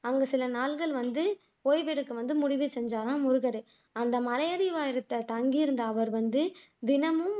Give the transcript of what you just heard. அங்க சில நாள்கள் வந்து ஓய்வெடுக்க வந்து முடிவு செய்தாராம் முருகர் அந்த மலையடி உயரத்தில் தங்கியிருந்த அவர் தினமும்